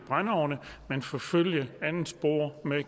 brændeovne men forfølge et andet spor med at